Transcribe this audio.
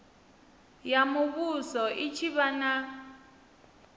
ya muvhuso i tshi vha